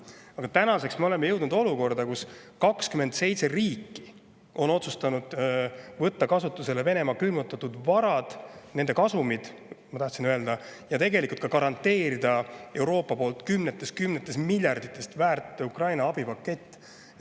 Aga tänaseks me oleme jõudnud olukorda, kus 27 riiki on otsustanud võtta kasutusele Venemaa külmutatud varad – nende kasumid, ma tahtsin öelda –, ja tegelikult nad garanteerivad Euroopa poolt kümnetes ja kümnetes miljardites väärt Ukraina abipaketti.